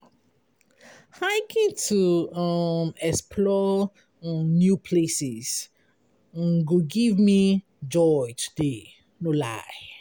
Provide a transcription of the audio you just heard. Hiking to um explore um new places um go give me joy today, no lie.